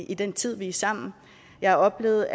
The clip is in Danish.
i den tid vi er sammen jeg har oplevet